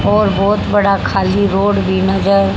और बहोत बड़ा खाली रोड भी नजर--